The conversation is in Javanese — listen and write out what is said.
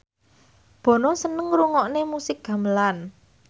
Bono seneng ngrungokne musik gamelan